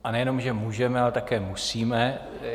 A nejenom že můžeme, ale také musíme.